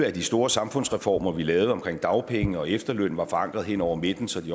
at de store samfundsreformer vi lavede omkring dagpenge og efterløn var forankret hen over midten så de